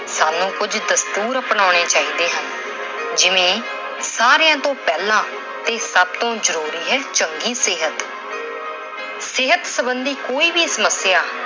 ਸਾਨੂੰ ਕੁਝ ਦਸਤੁਰ ਅਪਣਾਉਣੇ ਚਾਹੀਦੇ ਹਨ। ਜਿਵੇਂ ਸਾਰੀਆਂ ਤੋਂ ਪਹਿਲਾ ਤੇ ਸਭ ਤੋਂ ਜ਼ਰੂਰੀ ਹੈ- ਚੰਗੀ ਸਿਹਤ। ਸਿਹਤ ਸਬੰਧੀ ਕੋਈ ਵੀ ਸਮੱਸਿਆ